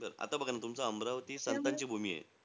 आता बघा ना, तुमचं अमरावती संतांची भूमी आहे.